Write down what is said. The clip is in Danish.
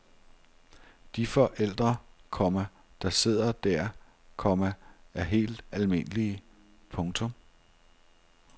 De forældre, komma der sidder der, komma er helt almindelige. punktum